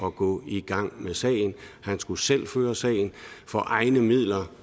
at gå i gang med sagen han skulle selv føre sagen for egne midler